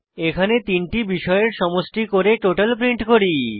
এখানে তিনটি বিষয়ের সমষ্টি করে টোটাল প্রিন্ট করি